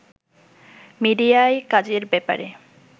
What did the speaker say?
মিডিয়ায় কাজের ব্যাপারে